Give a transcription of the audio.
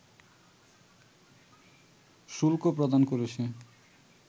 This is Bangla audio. শুল্ক প্রদান করেছে